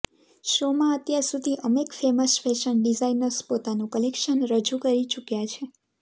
શોમાં અત્યારસુધી અમેક ફેમસ ફેશન ડિઝાઇનર્સ પોતાનું કલેક્શન રજૂ કરી ચુક્યાં છે